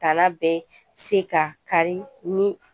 Dala bɛɛ se ka kari ni